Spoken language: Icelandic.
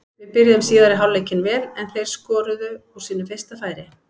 Við byrjuðum síðari hálfleikinn vel en þeir skoruðu úr sínu fyrsta færi.